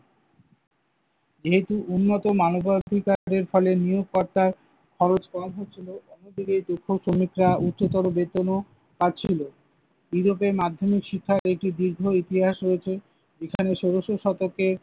যেহেতু উন্নত মানবাধিকারের ফলে নিয়োগকর্তার খরচ কম হচ্ছিল তখন থেকে দক্ষ শ্রমিকরা উচ্চতর বেতনও পাচ্ছিল। ইউরোপে মাধ্যমিক শিক্ষায় একটি দীর্ঘ ইতিহাস রয়েছে। এখানে ষোলশ শতকে